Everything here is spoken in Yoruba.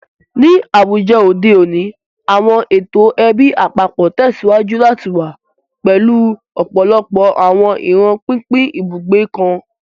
Ni awujọ ode oni, awọn eto ẹbi apapọ tẹsiwaju lati wa, pẹlu ọpọlọpọ awọn iran pinpin ibugbe kan.